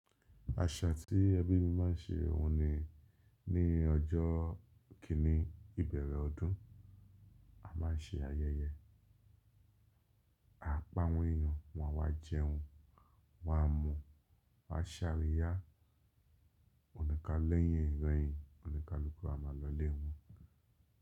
Àṣà tí ẹbí mi máa ń ṣe òhun ni ní ọjọ́ kíní ìbẹ̀rẹ̀ ọdún, a máa ń ṣe ayẹyẹ. A pa àwọn yíyan, wọn wá jẹun, wọn a mu, wọ́n a ṣàríyá. Ònìkáláyàn ìròyìn, oníkálukú a máa lọlé wọn.